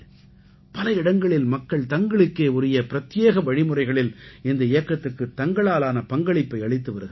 பல இடங்களில் மக்கள் தங்களுக்கே உரிய பிரத்யேக வழிமுறைகளில் இந்த இயக்கத்துக்குத் தங்களாலான பங்களிப்பை அளித்து வருகிறார்கள்